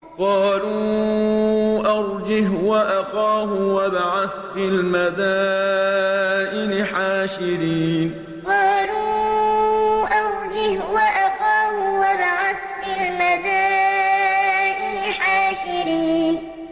قَالُوا أَرْجِهْ وَأَخَاهُ وَابْعَثْ فِي الْمَدَائِنِ حَاشِرِينَ قَالُوا أَرْجِهْ وَأَخَاهُ وَابْعَثْ فِي الْمَدَائِنِ حَاشِرِينَ